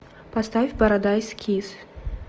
поставь парадайс кисс